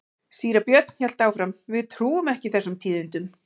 Síra Björn hélt áfram:-Við trúum ekki þessum tíðindum.